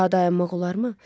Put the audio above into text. Daha dayanmaq olarmı?